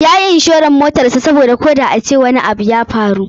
Yayi inshoran motarsa koda a ce wani abu ya faru.